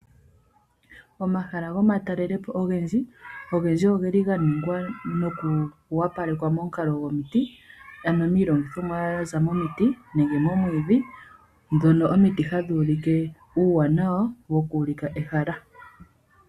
Omahala gomatalelipo ogendji ogeli ga ningwa nokuwapalekwa momukalo gomiti, ano miilongithomwa ya za momiti nenge moomwiidhi, dhono omiti hadhi ulike uuwanawa woku ulika ehala.